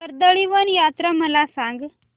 कर्दळीवन यात्रा मला सांग